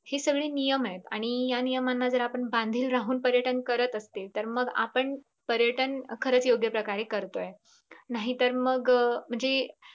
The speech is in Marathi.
हे सगळे नियम आहेत. आणि या नियमाना जर बांधील राहून पर्यटन करत असेल तर मग आपण पर्यटन खरंच योगय प्रकारे करतोय नाहीतर मग म्हणजे